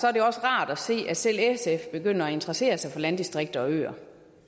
er det rart at se at selv sf begynder at interessere sig for landdistrikter og øer